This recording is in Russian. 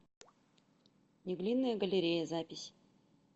неглинная галерея запись